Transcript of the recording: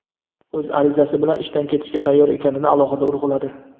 o‘z arizasi bilan ishdan ketishga tayyor ekanini alohida urg‘uladi.